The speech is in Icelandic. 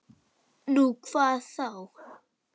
Nú, hvað þá?